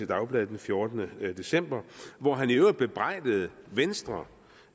dagblad den fjortende december hvor han i øvrigt bebrejdede venstre